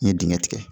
N ye dingɛ tigɛ